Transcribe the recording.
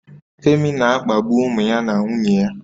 Femi na-akpagbu ụmụ ya na nwunye ya